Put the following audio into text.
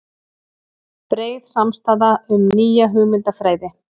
Breið samstaða um nýja hugmyndafræði